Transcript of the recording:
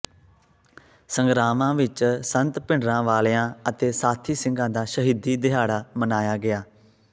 ਸੰਗਰਾਵਾਂ ਵਿੱਚ ਸੰਤ ਭਿੰਡਰਾਂਵਾਲਿਆਂ ਅਤੇ ਸਾਥੀ ਸਿੰਘਾ ਦਾ ਸ਼ਹੀਦੀ ਦਿਹਾੜਾ ਮਨਾਇਆ ਗਿਆ